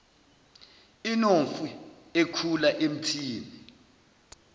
inomfi ekhula emthini